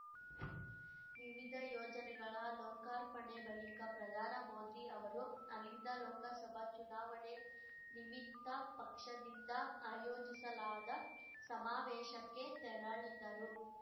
ವಿವಿಧ ಯೋಜನೆಗಳ ಲೋಕಾರ್ಪಣೆ ಬಳಿಕ ಪ್ರಧಾನ ಮೋದಿ ಅವರು ಅಲ್ಲಿಂದ ಲೋಕಸಭಾ ಚುನಾವಣೆ ನಿಮಿತ್ತ ಪಕ್ಷದಿಂದ ಆಯೋಜಿಸಲಾದ ಸಮಾವೇಶಕ್ಕೆ ತೆರಳಿದರು